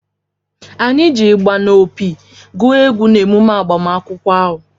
Anyị ji ịgbà na opi gụ egwu n’emume agbamakwụkwọ ahụ